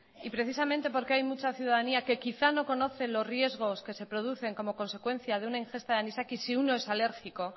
y precisamente porque hay mucha ciudadanía que quizás no conoce los riesgos que se producen como consecuencia de una ingesta de anisakis si uno es alérgico